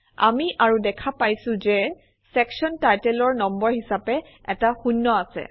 আমি আৰু দেখা পাইছোঁ যে চেকশ্যন টাইটেলৰ নম্বৰ হিচাপে এটা শূন্য আছে